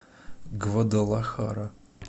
гвадалахара